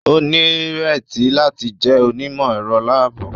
O nireti láti jẹ onimọ-ẹrọ laabu